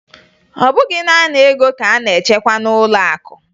Ọ bụghị naanị ego ka a na-achekwa n'ụlọakụ